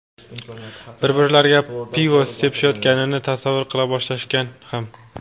bir-birlariga pivo sepishayotganini tasavvur qila boshlashgan ham.